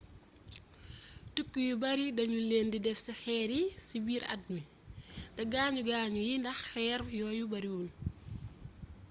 tukki yu bare danu len di def ci xeer yi ci biir at mi te gaañu gaañu yi ndax xeer yooyu bariwul